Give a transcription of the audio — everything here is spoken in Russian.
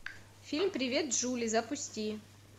фильм привет джули запусти